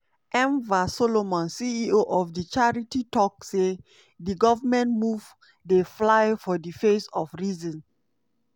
enver solomon ceo of di charity tok say di goment move "dey fly for di face of reason".